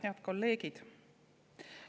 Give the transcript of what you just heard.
Head kolleegid!